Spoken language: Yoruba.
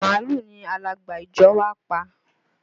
Màálù ni alàgbà ìjọ wá pa